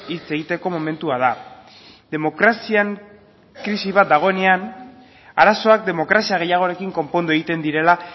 hitz egiteko momentua da demokrazian krisi bat dagoenean arazoak demokrazia gehiagorekin konpondu egiten direla